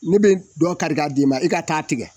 Ne be dɔ kari k'a d' ma e ka taa tigɛ